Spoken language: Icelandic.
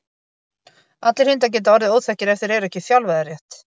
allir hundar geta orðið óþekkir ef þeir eru ekki þjálfaðir rétt